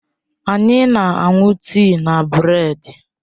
Anyị na-aṅụ tii na bredi.